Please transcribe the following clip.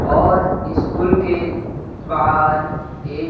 और ईस्कूल के बाहर एक--